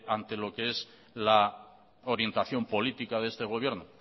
ante lo que es la orientación política de este gobierno